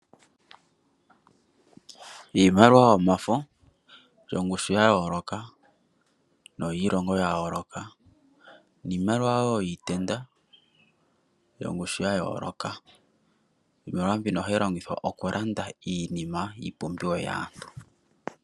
Iimaliwa yomafo yongushu yayoloka no yiilongo yayoloka, iimaliwa yiitenda yongushu yayoloka , iimaliwa mbino hayi longithwa okulanda iinima iipumbiwa yaantu.